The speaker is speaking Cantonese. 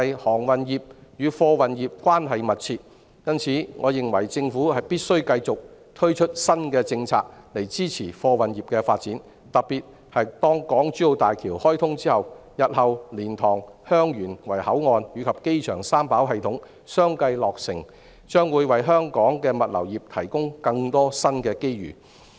航運業與貨運業關係密切，因此，我認為政府必須繼續推出新的政策，以支持貨運業的發展，特別是當港珠澳大橋開通、日後蓮塘/香園圍口岸及機場三跑系統相繼落成後，將會為香港的物流業提供更多新機遇。